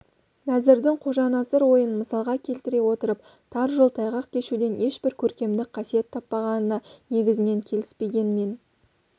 нәзірдің қожанасыр ойын мысалға келтіре отырып тар жол тайғақ кешуден ешбір көркемдік қасиет таппағанына негізінен келіспегенмен